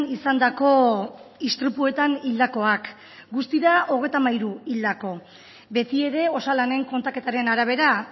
izandako istripuetan hildakoak guztira hogeita hamairu hildako beti ere osalanen kontaketaren arabera